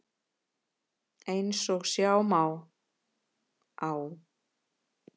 Eins og sjá má á